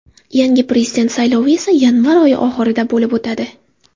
Yangi prezident saylovi esa yanvar oyi oxirida bo‘lib o‘tadi.